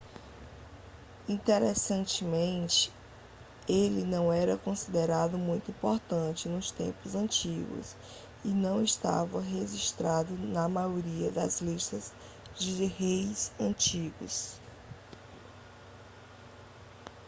interessantemente ele não era considerado muito importante nos tempos antigos e não estava registrado na maioria das listas de reis antigos